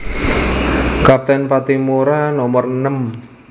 Kapten Patimura nomer enem